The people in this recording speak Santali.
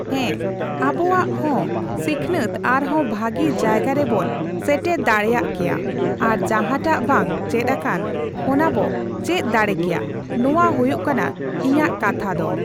ᱦᱮᱸ, ᱟᱵᱚᱣᱟᱜ ᱦᱚᱸ ᱥᱤᱠᱷᱱᱟᱹᱛ ᱟᱨᱦᱚᱸ ᱵᱷᱟᱹᱜᱤ ᱡᱟᱭᱜᱟ ᱨᱮᱵᱚᱱ ᱥᱮᱴᱮᱨ ᱫᱟᱲᱮᱭᱟᱜ ᱠᱮᱭᱟ᱾ ᱟᱨ ᱡᱟᱦᱟᱸᱴᱟᱜ ᱵᱟᱝ ᱪᱮᱫ ᱟᱠᱟᱱ, ᱚᱱᱟ ᱵᱚ ᱪᱮᱫ ᱫᱟᱲᱮ ᱠᱮᱭᱟ, ᱱᱚᱣᱟ ᱦᱩᱭᱩᱜ ᱠᱟᱱᱟ ᱤᱧᱟᱹᱜ ᱠᱟᱛᱷᱟ ᱫᱚ᱾